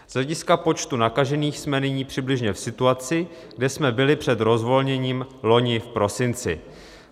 Z hlediska počtu nakažených jsme nyní přibližně v situaci, kde jsme byli před rozvolněním loni v prosinci.